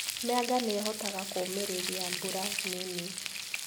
Mĩanga nĩihotaga kũmĩrĩria mbura nini.